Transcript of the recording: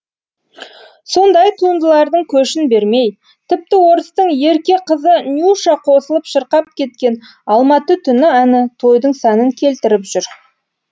сондай туындылардың көшін бермей тіпті орыстың ерке қызы нюша қосылып шырқап кеткен алматы түні әні тойдың сәнін келтіріп жүр